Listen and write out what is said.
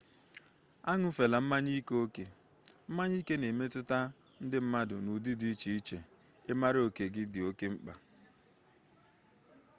añụfela mmanya ike oke mmanya ike na emetụta ndị mmadụ n'ụdị dị iche iche ịmara oke gị dị oke mkpa